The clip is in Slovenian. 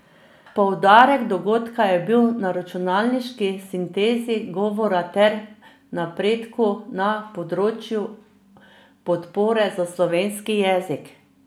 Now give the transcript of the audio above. Poudarek dogodka je bil na računalniški sintezi govora ter napredku na področju podpore za slovenski jezik.